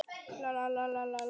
Þeir eru samt ennþá hann.